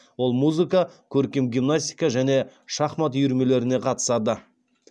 ол музыка көркем гимнастика және шахмат үйірмелеріне қатысады